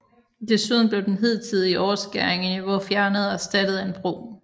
Desuden blev den hidtidige overskæring i niveau fjernet og erstattet af en bro